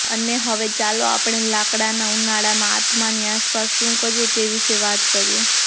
અને હવે ચાલો આપણે લાકડાના ઉનાળામાં આત્માની આસપાસ શું કરીએ તે વિશે વાત કરીએ